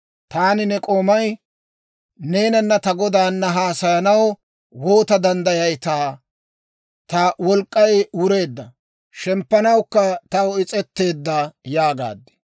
Taani ne k'oomay neenanna ta godaana haasayanaw woota danddayayitaa? Ta wolk'k'ay wureedda; shemppanawukka taw is's'etteedda» yaagaad.